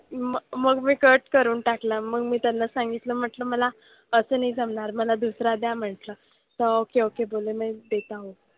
मग मग मी cut करून टाकला मग. मी सांगितलं म्हंटलं मला असं नाही जमणार. मला दुसरा द्या म्हंटलं. हां okay okay बोलले